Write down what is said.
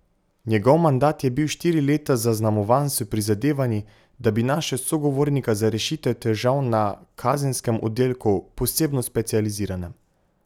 Njegov mandat je bil štiri leta zaznamovan s prizadevanji, da bi našel sogovornika za rešitev težav na kazenskem oddelku, posebno specializiranem.